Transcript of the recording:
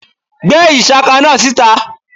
gbe ishaka náá sítá!